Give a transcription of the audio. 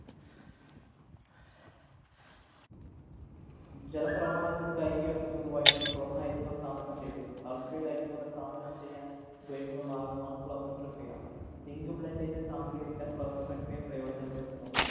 ജലപ്രവാഹത്തില്‍ കഴുകിയെടുക്കുന്നത് വഴിയാണ് സ്വര്‍ണ്ണ അയിരുകള്‍ സാന്ദ്രണം ചെയ്യുന്നത്. Sulphide അയിരുകളുടെ സാന്ദ്രണം ചെയ്യാന്‍ ഉപയോഗിക്കുന്ന മാര്‍ഗ്ഗമാണ് പ്ലവനപ്രക്രിയ. Zinc blend ൻ്റെ സാന്ദ്രീകരിക്കാന്‍ പ്ലവനപ്രക്രിയ പ്രയോചനപ്പെടുത്തുന്നു.